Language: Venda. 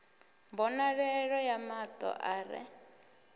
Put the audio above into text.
mbonalelo ya mato a re